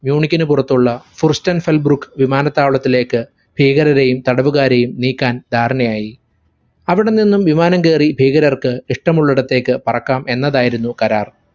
മ്യുയൂണിക്കിന് പുറത്തുള്ള ഫ്രുസ്റ്റൻ ബെൽഗ്രുക് വിമാനത്താവളത്തിലേക്ക് ഭീകരെയും തടവുകാരെയും നീക്കാൻ ധാരണയായി. അവിടനിന്നും വിമാനം കേറി ഭീകരർക്ക് ഇഷ്ടമുള്ളിടത്തേക്ക് പറക്കാം എന്നതായിരുന്നു കരാർ.